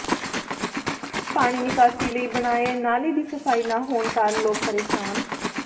ਪਾਣੀ ਨਿਕਾਸੀ ਲਈ ਬਣਾਏ ਨਾਲੇ ਦੀ ਸਫ਼ਾਈ ਨਾ ਹੋਣ ਕਾਰਨ ਲੋਕ ਪ੍ਰੇਸ਼ਾਨ